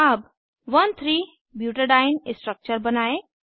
अब 13 butadiene structure बनायें